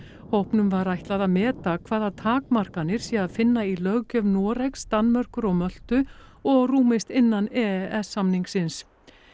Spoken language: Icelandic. hópnum var ætlað að meta hvaða takmarkanir sé að finna í löggjöf Noregs Danmerkur og Möltu og rúmist innan e s samningsins